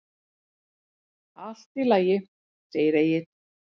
Allt í lagi, segir Egill.